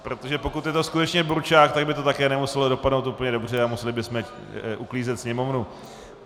Protože pokud je to skutečně burčák, tak by to také nemuselo dopadnout úplně dobře a museli bychom uklízet sněmovnu.